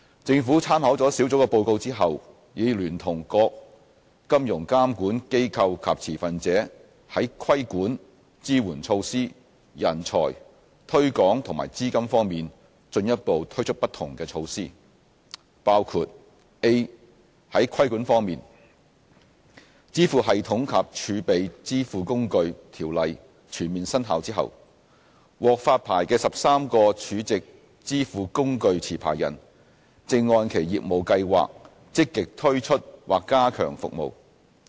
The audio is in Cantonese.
政府參考了小組的報告後，已聯同各金融監管機構及持份者在規管、支援措施、人才、推廣和資金方面進一步推出不同的措施，包括： a 在規管方面，《支付系統及儲值支付工具條例》全面生效後，獲發牌的13個儲值支付工具持牌人正按其業務計劃積極推出或加強服務。